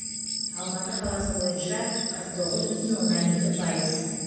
алматы қаласы бойынша қырық тоғыз бүтін оннан екі пайыз